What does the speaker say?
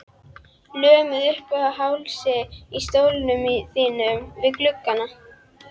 Lömuð uppað hálsi í stólnum þínum við gluggann.